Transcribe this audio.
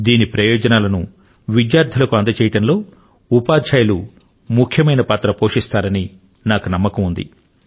దీని ప్రయోజనాలను విద్యార్థులకు అందజేయడంలో ఉపాధ్యాయులు ముఖ్యమైన పాత్ర ను పోషిస్తారని నాకు నమ్మకం ఉంది